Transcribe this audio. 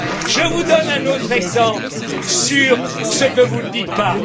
Je vous donne un autre exemple de ce que vous ne dites pas.